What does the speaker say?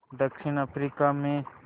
दक्षिण अफ्रीका में